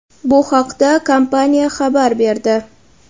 Bu haqda kompaniya xabar berdi.